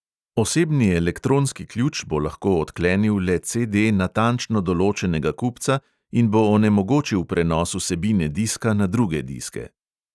Osebni elektronski ključ bo lahko odklenil le CD natančno določenega kupca in bo onemogočil prenos vsebine diska na druge diske.